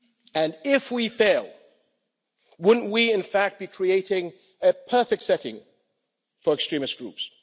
And if we fail, wouldn't we in fact be creating a perfect setting for extremist groups?